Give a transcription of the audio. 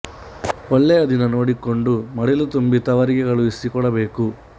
ಒಳ್ಳೆಯ ದಿನ ನೋಡಿಕೊಂಡು ಮಡಿಲು ತುಂಬಿ ತವರಿಗೆ ಕಳುಹಿಸಿ ಕೊಡಬೇಕು